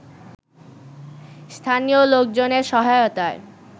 স্থানীয় লোকজনের সহায়তায়